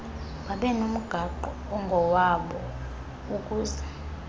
babenomgaqo ongowabo ukuzed